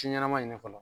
Ci ɲɛnɛma ɲini fɔlɔ